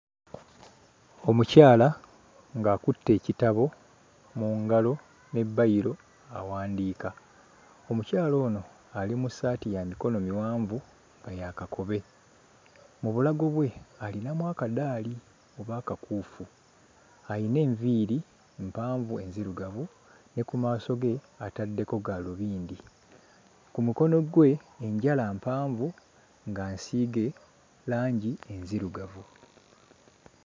Omukyala ng'akutte ekitabo mu ngalo ne bbayiro awandiika. Omukyala ono ali mu ssaati ya mikono miwanvu nga ya kakobe. Mu bulago bwe alinamu akaddaali oba akakuufu, ayina enviiri mpanvu enzirugavu ne ku maaso ge ataddeko gaalubindi, ku mukono gwe enjala mpanvu nga nsiige langi enzirugavu.